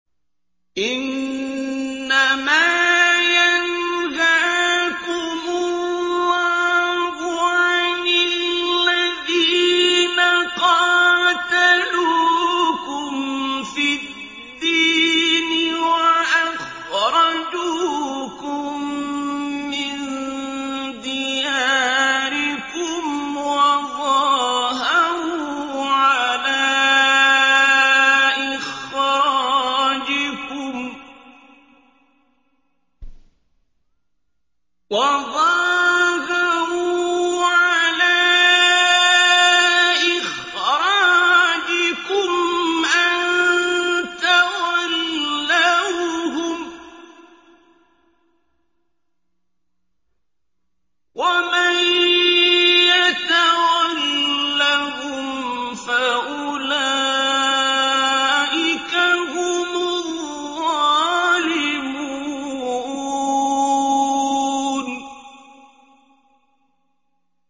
إِنَّمَا يَنْهَاكُمُ اللَّهُ عَنِ الَّذِينَ قَاتَلُوكُمْ فِي الدِّينِ وَأَخْرَجُوكُم مِّن دِيَارِكُمْ وَظَاهَرُوا عَلَىٰ إِخْرَاجِكُمْ أَن تَوَلَّوْهُمْ ۚ وَمَن يَتَوَلَّهُمْ فَأُولَٰئِكَ هُمُ الظَّالِمُونَ